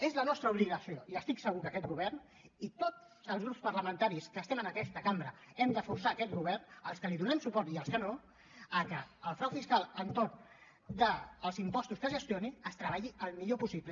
és la nostra obligació i estic segur que aquest govern i tots els grups parlamentaris que estem en aquesta cambra hem de forçar aquest govern els que li donem suport i els que no que el frau fiscal entorn dels impostos que es gestionin es treballi el millor possible